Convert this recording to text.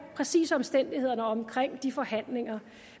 præcise omstændigheder omkring de forhandlinger